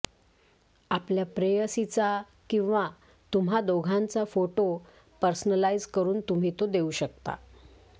आपल्या प्रेयसीचा किंवा तुम्हा दोघांचा फोटो पर्सनलाइज करून तुम्ही तो देऊ शकता